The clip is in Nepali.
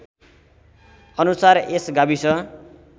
अनुसार यस गाविस